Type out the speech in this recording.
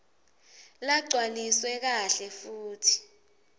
lagcwaliswe kahle futsi